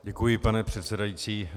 Děkuji, pane předsedající.